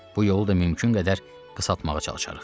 Bu yolu da mümkün qədər qısaltmağa çalışarıq.